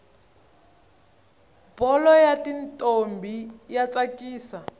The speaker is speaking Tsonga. bholo yatintombi yatsakisa